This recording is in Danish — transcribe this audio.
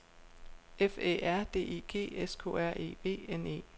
F Æ R D I G S K R E V N E